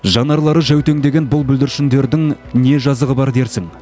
жанарлары жәутеңдеген бұл бүлдіршіндердің не жазығы бар дерсің